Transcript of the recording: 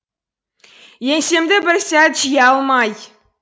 еңсемді бір сәт жия алмай